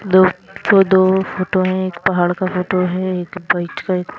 दो ठो दो फोटो में एक पहाड़ का फोटो है और एक --